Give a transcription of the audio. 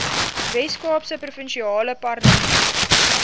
weskaapse provinsiale parlement